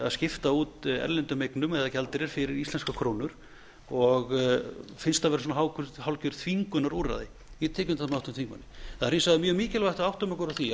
að skipta út erlendum eignum eða gjaldeyri fyrir íslenskrar krónur og finnst það vera hálfgert þvingunarúrræði ég get tekið undir það með háttvirtum þingmanni það er hins vegar mjög mikilvægt að við áttum okkur á því